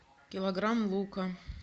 килограмм лука